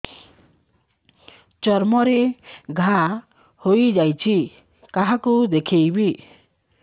ଚର୍ମ ରେ ଘା ହୋଇଯାଇଛି କାହାକୁ ଦେଖେଇବି